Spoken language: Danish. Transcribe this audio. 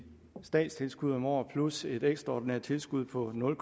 statstilskud om året plus et ekstraordinært tilskud på nul